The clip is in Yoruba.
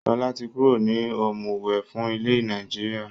Sọlá tí kúrò ní ọ̀mùwẹ̀ fún ilẹ̀ Nàìjíríà.